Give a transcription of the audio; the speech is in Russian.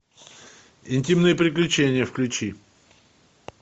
интимные приключения включи